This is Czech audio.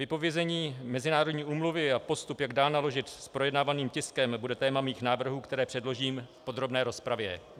Vypovězení mezinárodní úmluvy a postup, jak dál naložit s projednávaným tiskem, bude téma mých návrhů, které předložím v podrobné rozpravě.